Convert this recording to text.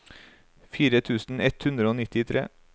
fire tusen ett hundre og nittitre